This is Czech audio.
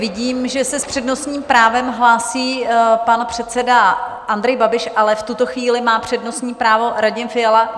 Vidím, že se s přednostním právem hlásí pan předseda Andrej Babiš, ale v tuto chvíli má přednostní právo Radim Fiala.